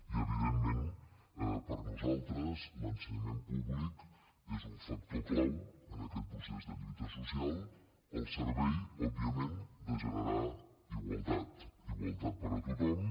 i evidentment per nosaltres l’ensenyament públic és un factor clau en aquest procés de lluita social al servei òbviament de generar igualtat igualtat per a tothom